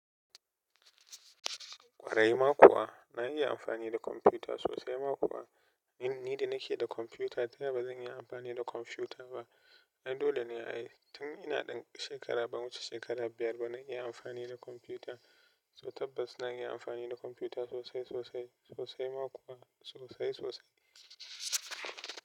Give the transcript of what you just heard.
Ƙwarai ma kuwa na iya amfani da kwamfuta sosai ma kuwa in ni da nake da kwamfuta da ba zan iya amfani da kwamfuta ba. Ai dole ne ai, tun ina ɗan shekara ban wuce shekara biyar ba na iya amfani da kwamfuta. So tabbas na iya amfani da kwamfuta sosai, sosai, sosai ma kuwa sosai, sosai.